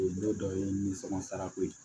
N'o dɔ ye nimisɔn sara ko ye